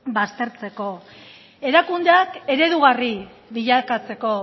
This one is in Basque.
baztertzeko erakundeak eredugarri bilakatzeko